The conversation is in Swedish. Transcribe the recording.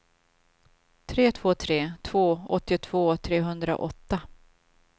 tre två tre två åttiotvå trehundraåtta